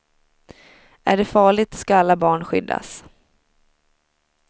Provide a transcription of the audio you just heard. Är det farligt ska alla barn skyddas.